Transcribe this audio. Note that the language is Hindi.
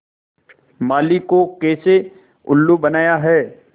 माली को कैसे उल्लू बनाया है